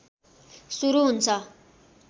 सुरू हुन्छ